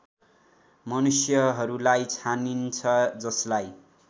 मनुष्यहरूलाई छानिन्छ जसलाई